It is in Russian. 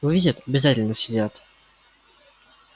увидят обязательно съедят